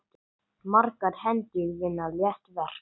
Margar hendur vinna létt verk!